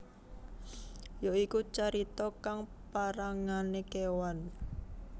Ya iku carita kang parangane kewan